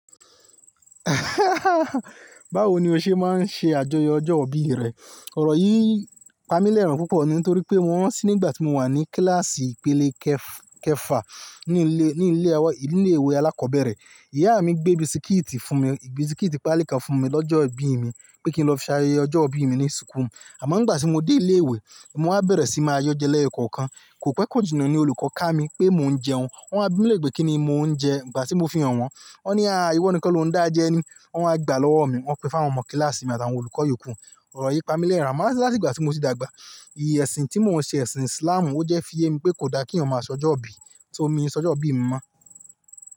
Báwo ni o ṣe máa ń ṣe àjọyọ̀ ọjọ́ ìbí rẹ? Ọ̀rọ̀ yìí pamí lẹ́rin púpọ̀ ní torí pé mo ràn tí nígbà tí mo no wà ní kíláàsì ìpele kẹ-kẹfà ní ilé, ni ilé ìwé alákọ̀ọ́bẹ̀rẹ̀. Ìyá mi gbé bisikíìtì fún mi, bisikíìtì Pali kan fún mi lọ́jọ́ ìbí mi pé kí n lọ fi ṣ'ayẹyẹ ọjọ́ ìbí mi ní súkù. Àmọ́ nígbà tí mo dé ilé ìwé, mo wá bẹ̀rẹ̀ sí máa yọ́ jẹ lẹ́yo-kọ̀kan, kò pẹ́ kòjinna ni olùkọ́ ká mi pé mò ń jẹun. Wọ́n wá bi mí lère, kí ni mò ń jẹ ngbà tí mo fi hàn-wọn. Ó ní, "à íwọ ni kan lo ń dá jẹ ni." Wọ́n wá gba lọ́wọ́ mi, wọ́n pín fún àwọn ọmọ kíláàsì mi àti àwọn olùkọ́ ìyókù. Ọ̀rọ̀ yìí pamí lẹ́rin, àmọ́ láti ìgbà tí mo ti dàgbà, ìyi ẹ̀sìn tí mò ń ṣe ẹ̀sìn Islamù, ó jẹ́ fí ye mi pé kò da kí èèyàn máa sọjọ́ ìbí. Só, mi sọjọ́ ìbí mi mọ́.